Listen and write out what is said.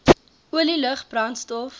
olie lug brandstof